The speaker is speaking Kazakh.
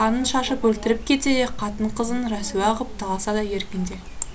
қанын шашып өлтіріп кетсе де қатын қызын рәсуа ғып таласа да еркінде